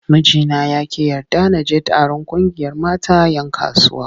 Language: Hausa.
Mijina ya ƙi yarda na je taron ƙungiyar mata 'yan kasuwa.